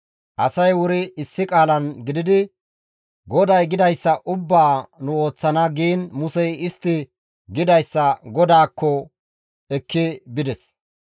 Asay wuri issi qaalan gididi, «GODAY gidayssa ubbaa nu ooththana» giin Musey istti gidayssa GODAAKKO ekki bides.